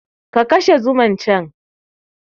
Ka kashe zuman can!